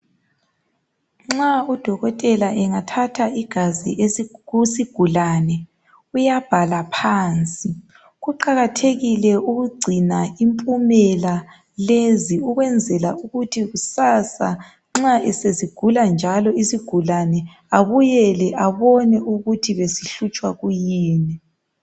Nxa udokotela engathatha igazi esi kusigulane uyabhala phansi. Kuqathekile ukugcina impumela lezi ukwenzela ukuthi kusasa nxa sesigula njalo isigulane, abuyele abone ukuthi besihlutshwa kuyini.